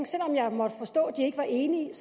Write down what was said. selv om jeg måtte forstå at den ikke var enig